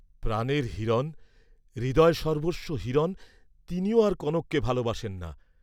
ভ্রাতার জন্য কনক চিরসুখ ত্যাগ করিল, ভাই তবুও কনককে ভালবাসিলেন না।